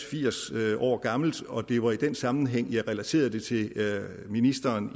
firs år gammelt og det var i den sammenhæng jeg relaterede det til ministeren